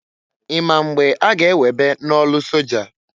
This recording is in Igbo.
I ma mgbe a ga- ewebe n'ọlụ soja?